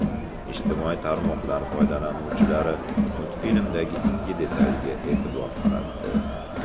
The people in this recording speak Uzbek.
Ijtimoiy tarmoqlar foydalanuvchilari multfilmdagi ikki detalga e’tibor qaratdi.